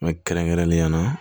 Mɛ kɛrɛnkɛrɛnnenya la